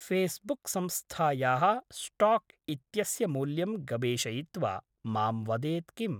फ़ेस्बुक्संस्थायाः stock इत्यस्य मूल्यं गवेषयित्वा मां वदेत् किम्?